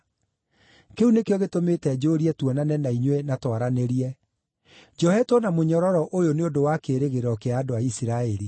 Kĩu nĩkĩo gĩtũmĩte njũũrie tuonane na inyuĩ na twaranĩrie. Njohetwo na mũnyororo ũyũ nĩ ũndũ wa kĩĩrĩgĩrĩro kĩa andũ a Isiraeli.”